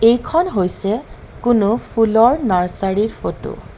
এইখন হৈছে কোনো ফুলৰ নাৰ্চাৰি ৰ ফটো .